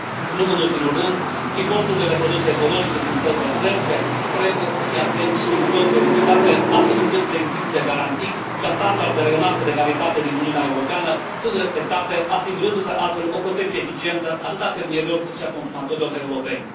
Nu în ultimul rând, importurile de produse ecologice din țările terțe trebuie să fie atent și minuțios verificate, astfel încât să existe garanții că standardele înalte de calitate din Uniunea Europeană sunt respectate, asigurându se astfel o protecție eficientă atât a fermierilor, cât și a consumatorilor europeni.